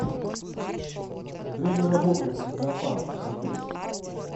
время работы зоопарка в отеле